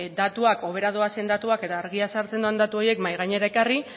datuak hobera doazen datuak eta argia sartzen duten datu horiek mahai gainean ekarri